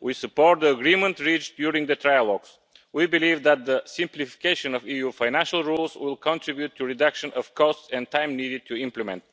We support the agreement reached during the trilogues. We believe that the simplification of EU financial rules will contribute to reducing the costs and time needed to implement